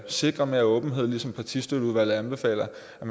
sikrer mere åbenhed ligesom partistøtteudvalget anbefaler